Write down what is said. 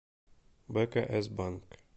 бкс банк